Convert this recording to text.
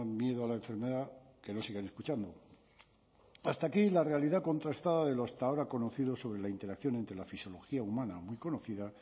miedo a la enfermedad que no sigan escuchando hasta aquí la realidad contrastada de lo hasta ahora conocido sobre la interacción entre la fisiología humana muy conocida